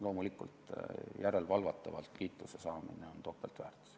Loomulikult, järelevalvatavalt kiituse saamisel on topeltväärtus.